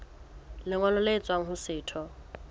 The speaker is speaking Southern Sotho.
lengolo le tswang ho setho